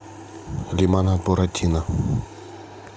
лимонад буратино